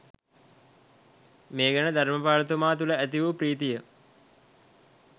මේ ගැන ධර්‍මපාල තුමා තුළ ඇති වූ ප්‍රීතිය